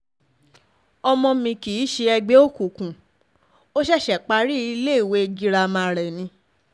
ọmọ um mi kì í ṣe ẹgbẹ́ òkùnkùn ó um ṣẹ̀ṣẹ̀ parí iléèwé girama rẹ̀ ni